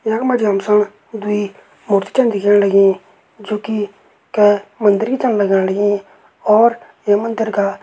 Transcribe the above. यख मजी हम सण दुई मूर्ति चन दिखेण लगीं जो कि कै मंदिर की चन लगण लगीं और ये मंदिर का --